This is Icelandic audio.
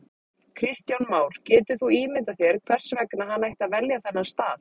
Kristján Már: Getur þú ímyndað þér hvers vegna hann ætti að velja þennan stað?